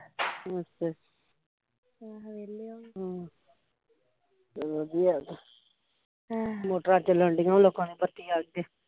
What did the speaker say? ਅੱਛਾ ਵਧੀਆ ਤੇ ਮੋਟਰਾਂ ਚੱਲਣ ਡੀਆ ਲੋਕਾਂ ਦੀਆ ਬੱਤੀ ਆਏ ਤੇ